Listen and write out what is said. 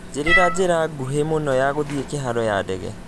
njiĩrira njĩra ngũhĩ mũno ya gũthiĩ kĩharo ya ndege